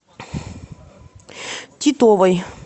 титовой